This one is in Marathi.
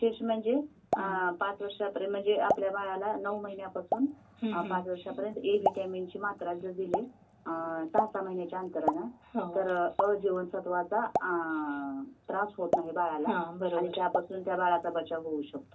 आणि विशेष म्हणजे पांच वर्षापर्यंत म्हणजे आपल्या बाळाला नऊ महिन्यापासून पांच वर्षापर्यंत ए विटामीनची मात्रा जर दिली.. अं.. सहा सहा महिन्यांच्या अंतराने तर अ जीवनसत्वाचा.. अं.. त्रास होत नाही बाळाला आणि त्यापासून त्या बाळाचा बचाव होऊ शकतो.